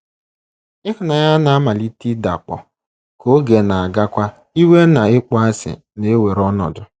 Ịhụnanya na - amalite ịdakpọ, ka oge na - agakwa, iwe na ịkpọasị na - ewere ọnọdụ.